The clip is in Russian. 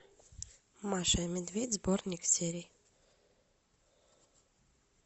маша и медведь сборник серий